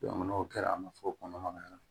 n'o kɛra a ma fɔ kɔnɔmaya